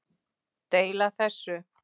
Deila þessu